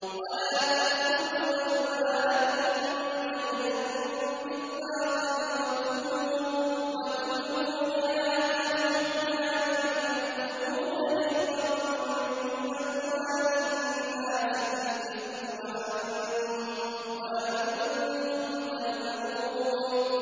وَلَا تَأْكُلُوا أَمْوَالَكُم بَيْنَكُم بِالْبَاطِلِ وَتُدْلُوا بِهَا إِلَى الْحُكَّامِ لِتَأْكُلُوا فَرِيقًا مِّنْ أَمْوَالِ النَّاسِ بِالْإِثْمِ وَأَنتُمْ تَعْلَمُونَ